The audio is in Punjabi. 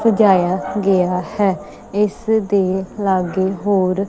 ਸਜਾਇਆ ਗਿਆ ਹੈ ਇੱਸਦੇ ਲੱਗੇ ਹੋਰ--